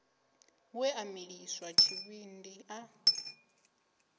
we a miliswa tshivhindi a